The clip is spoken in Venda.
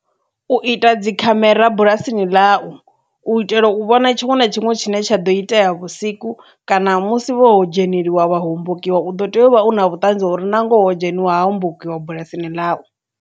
U ita dzi khamera bulasini ḽa u itela u vhona tshiṅwe na tshiṅwe tshine tsha ḓo itea vhusiku kana musi vho dzheneliwa vha hombokiwa u ḓo tea uvha u na vhutanzi ha uri na ngoho ho dzheniwa ha hombokiwa bulasini ḽau.